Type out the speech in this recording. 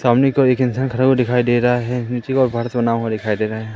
सामने की ओर एक इंसान खड़ा हुआ दिखाई दे रहा है नीचे का घर सुना हुआ दिखाई दे रहा है।